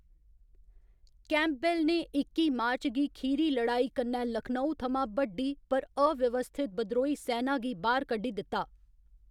Campbell ने इक्की मार्च गी खीरी लड़ाई कन्नै लखनऊ थमां बड्डी पर अव्यवस्थित बद्रोही सैना गी बाह्‌‌र कड्ढी दित्ता।